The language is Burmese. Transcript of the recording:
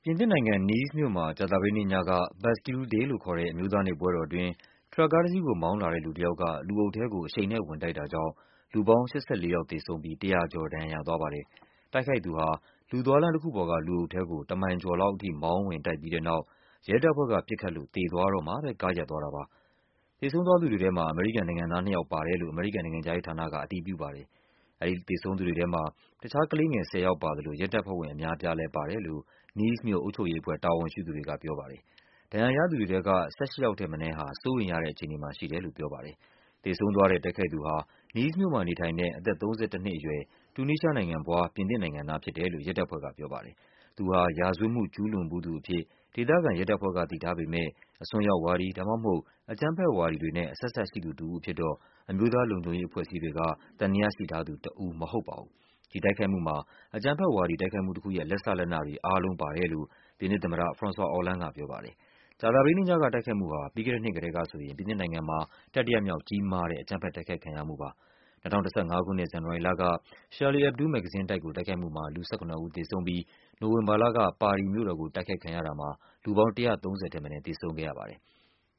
ြင်သစ်နိုင်ငံ၊ Nice မြို့မှာ ကြာသပတေးနေ့ညက Bastille Day လို့ခေါ်တဲ့ အမျိုးသားနေ့ ပွဲတော်အတွင်း ထရပ်ကားတစီးကို မောင်းလာတဲ့လူတယောက်က လူအုပ်ထဲကို အရှိန်နဲ့ ဝင်တိုက်တာကြောင့် လူပေါင်း ၈၄ ယောက်သေဆုံးပြီး ၁၀၀ ကျော် ဒဏ်ရာ ရသွားပါတယ်။ တိုက်ခိုက်သူဟာ လူသွားလမ်းတခုပေါ်က လူအုပ်ထဲကို တမိုင်ကျော်လောက် အထိ မောင်း ဝင်တိုက်ပြီးတဲ့နောက် ရဲတပ်ဖွဲ့က ပစ်ခတ်လို့ သေသွားတော့မှပဲ ကားရပ်သွားတာပါ။ သေဆုံးသူတွေထဲမှာ အမေရိကန်နိုင်ငံသားနှစ်ယောက် ပါတယ်လို့ အမေရိကန်နိုင်ငံခြားရေးဌာနက အတည်ပြုပါတယ်။ သေဆုံး သူတွေထဲမှာ ကလေးငယ် ၁၀ ယောက်ပါသလို ရဲတပ်ဖွဲ့ဝင်အများအပြားလည်း ပါတယ်လို့ Nice မြို့ အုပ်ချုပ်ရေးအဖွဲ့ တာဝန်ရှိ သူတွေကပြောပါတယ်။ ဒဏ်ရာရသူတွေထဲက ၁၈ ယောက်ထက်မနည်းဟာ စိုးရိမ်ရတဲ့အခြေအနေမှာ ရှိတယ်လို့ ပြောပါတယ်။ သေဆုံးသွားတဲ့ တိုက်ခိုက်သူဟာ Nice မြို့မှာနေထိုင်တဲ့ အသက် ၃၁ နှစ်အရွယ် တူနီးရှားနိုင်ငံဖွား ပြင်သစ်နိုင်ငံသား ဖြစ်တယ် လို့ ရဲတပ်ဖွဲ့ကပြောပါတယ်။ သူဟာ ရာဇဝတ်မှု ကျူးလွန်ဖူးသူအဖြစ် ဒေသခံရဲတပ်ဖွဲ့ကသိထားပေမဲ့ အစွန်းရောက်ဝါဒီ ဒါမှမဟုတ် အကြမ်းဖက်ဝါဒီတွေနဲ့ အဆက်အစပ်ရှိသူတဦးအဖြစ် အမျိုးသားလုံခြုံရေး အဖွဲ့အစည်းတွေက သံသယရှိထားသူတဦးတော့ မဟုတ်ပါဘူး။ ဒီတိုက်ခိုက်မှုမှာ အကြမ်းဖက်ဝါဒီ တိုက်ခိုက်မှုတခုရဲ့ လက်စလက်နတွေ အားလုံး ပါတယ် လို့ ပြင်သစ်သမ္မတ ဖရွန်ဆွာ အော်လန်းဒ်ကပြောပါတယ်။ ကြာသပတေးနေ့ညက တိုက်ခိုက်မှုဟာ ပြီးခဲ့တဲ့နှစ်ကတည်းက ဆိုရင် ပြင်သစ်နိုင်ငံမှာ တတိယမြောက် ကြီးမားတဲ့ အကြမ်းဖက် တိုက်ခိုက်ခံရမှုဖြစ်ပါတယ်။ ၂၀၁၅ ခုနှစ် ဇန်နဝါရီလက Charlie Hebdo မဂ္ဂဇင်းတိုက် ကိုတိုက်ခိုက်မှုမှာ လူ ၁၇ ဦးသေဆုံးပြီး နိုဝင်ဘာလက ပါရီမြို့တော်ကို တိုက်ခိုက်ခံရတာမှာ လူပေါင်း ၁၃၀ ထက်မနည်း သေဆုံး ခဲ့ရပါတယ်။